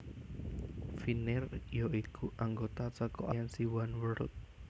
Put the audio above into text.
Finnair ya iku anggota saka aliansi Oneworld